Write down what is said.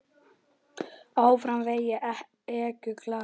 Áfram veginn ekur glaður.